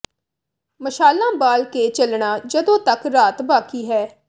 ਮਸ਼ਾਲਾਂ ਬਾਲ ਕੇ ਚੱਲਣਾ ਜਦੋਂ ਤੱਕ ਰਾਤ ਬਾਕੀ ਹੈ